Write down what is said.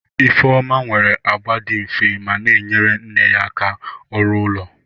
Ifeoma nwere agba dị nfe ma na-enyere nne ya aka ọrụ ụlọ.